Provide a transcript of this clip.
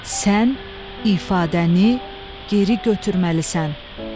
Sən ifadəni geri götürməlisən.